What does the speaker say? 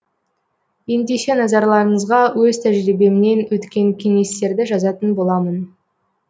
ендеше назарларыңызға өз тәжірибемнен өткен кеңестерді жазатын боламын